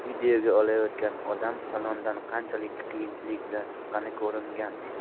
Videoga olayotgan odam salondan qanchalik qiyinchilik bilan chiqqani ko‘ringan.